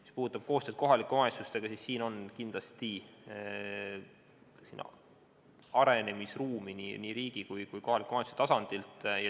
Mis puudutab koostööd kohalike omavalitsustega, siis siin on kindlasti arenemisruumi nii riigi kui ka kohaliku omavalitsuse tasandil.